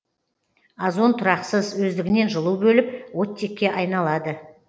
озон тұрақсыз өздігінен жылу бөліп оттекке айналады